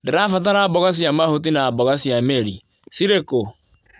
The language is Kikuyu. ndĩrabatara mboga cia mahuti na mboga cia mĩri. Cirĩ kũ?